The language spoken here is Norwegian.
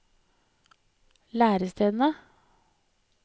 lærestedene